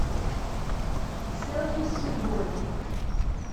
селфи с судьбой